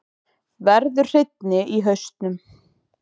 Verður hreinni í hausnum.